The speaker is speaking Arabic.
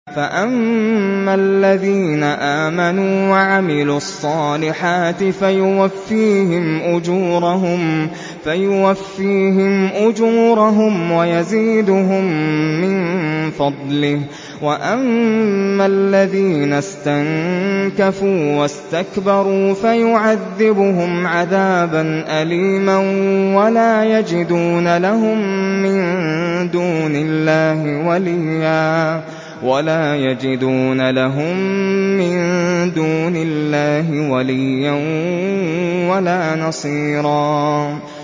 فَأَمَّا الَّذِينَ آمَنُوا وَعَمِلُوا الصَّالِحَاتِ فَيُوَفِّيهِمْ أُجُورَهُمْ وَيَزِيدُهُم مِّن فَضْلِهِ ۖ وَأَمَّا الَّذِينَ اسْتَنكَفُوا وَاسْتَكْبَرُوا فَيُعَذِّبُهُمْ عَذَابًا أَلِيمًا وَلَا يَجِدُونَ لَهُم مِّن دُونِ اللَّهِ وَلِيًّا وَلَا نَصِيرًا